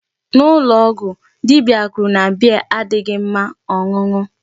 N'ụlọ ọgwụ, dibia kwuru na beer adịghị mma ọṅụṅụ.